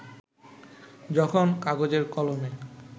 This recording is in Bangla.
যখন কাগজে-কলমে